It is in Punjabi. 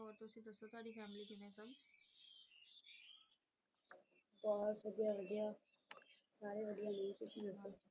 ਹੋਰ ਵਧੀਆ ਵਧੀਆ ਸਾਰੇ ਵਧੀਆ ਨੇ ਤੁਸੀ ਦੱਸੋ ਕੀ ਕਰ ਰਹੇ ਸੀ